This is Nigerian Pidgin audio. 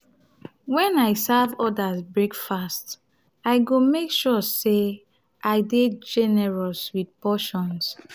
when i serve others breakfast i go make sure say i dey generous with portions.